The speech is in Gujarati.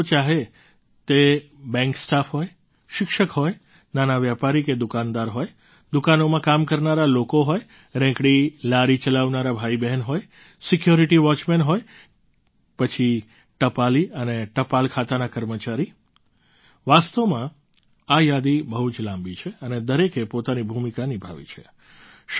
અનેક લોકો ચાહે તે બૅન્ક સ્ટાફ હોય શિક્ષકો હોય નાના વેપારી કે દુકાનદાર હોય દુકાનોમાં કામ કરનારા લોકો હોય રેંકડીલારી ચલાવનારા ભાઈબહેન હોય સિક્યોરિટી વૉચમેન હોય કે પછી ટપાલી અને ટપાલ ખાતાના કર્મચારી વાસ્તવમાં આ યાદી બહુ જ લાંબી છે અને દરેકે પોતાની ભૂમિકા નિભાવી છે